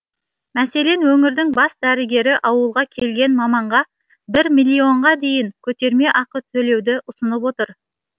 мәселен өңірдің бас дәрігері ауылға келген маманға бір миллионға дейін көтерме ақы төлеуді ұсынып отыр